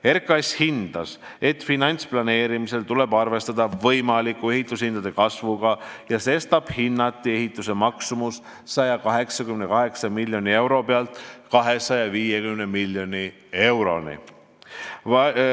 RKAS hindas, et finantsplaneerimisel tuleb arvestada võimaliku ehitushindade kasvuga ja sestap hinnati ehituse maksumus 188 miljoni euro pealt 250 miljoni euroni.